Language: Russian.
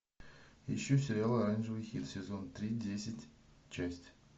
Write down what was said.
ищу сериал оранжевый хит сезон три десять часть